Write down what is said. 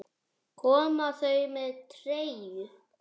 Koma þau með treyju?